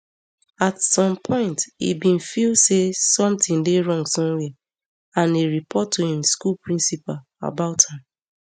at some point e bin feel say somtin dey wrong somwia and e report to im school principal about am